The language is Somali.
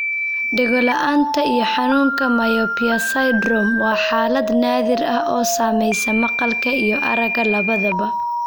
Dhegola'aanta iyo xanuunka 'myopia syndrome' waa xaalad naadir ah oo saamaysa maqalka iyo aragga labadaba.